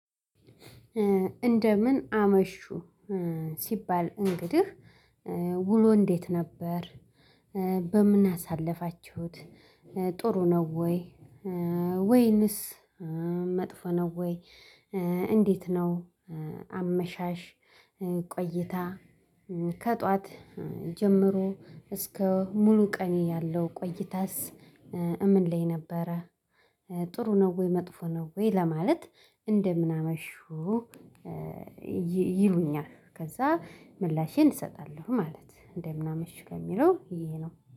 እንደምን አመሹ ሲባል እንግዲህ ውሎ እንዴት ነበር? በምን አሳለፋችሁት? ጥሩ ነው ወይ? ወይንስ መጥፎ ነው ወይ? እንዴት ነው አመሻሽ ቆይታ ከጧት ጀምሮ እስከ ሙሉ ቀን ያለው ቆይታስ እምን ላይ ነበረ? ጥሩ ነው ወይ መጥፎ ነው? ወይ ለማለት እንደምን አመሹ ይሉኛል ከዛ ምላሼን እሰጣለሁ ማለት እንደምን አመሹ ከሚለው ይሄ ነው።